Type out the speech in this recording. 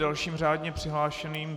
Dalším řádně přihlášeným...